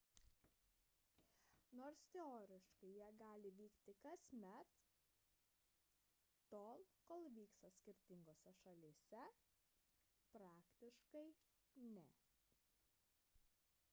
nors teoriškai jie gali vykti kasmet tol kol vyksta skirtingose šalyse praktiškai – ne